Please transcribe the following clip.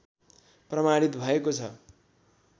प्रमाणित भएको छ